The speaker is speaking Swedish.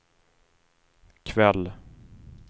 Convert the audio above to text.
kväll